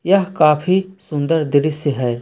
यह काफी सुंदर दृश्य है।